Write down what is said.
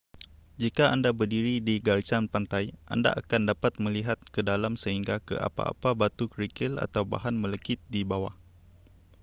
jika anda berdiri di garisan pantai anda akan dapat melihat ke dalam sehingga ke apa-apa batu kerikil atau bahan melekit di bawah